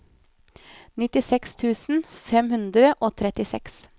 nittiseks tusen fem hundre og trettiseks